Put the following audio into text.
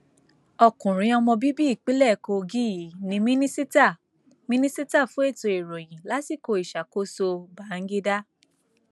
ọkùnrin ọmọ bíbí ìpínlẹ kogi yìí ní mínísítà mínísítà fún ètò ìròyìn lásìkò ìṣàkóso bangida